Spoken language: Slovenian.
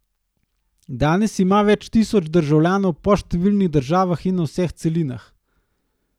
Danes ima več tisoč državljanov po številnih državah in na vseh celinah.